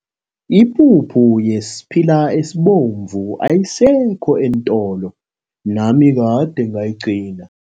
Ipuphu yesiphila esibomvu ayisekho eentolo, nami kade ngayigcina.